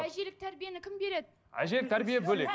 әжелік тәрбиені кім береді әжелік тәрбие бөлек